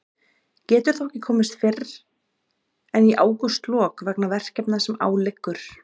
Getur þó ekki komist fyrr en í ágústlok vegna verkefna sem á liggur.